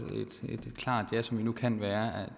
kan være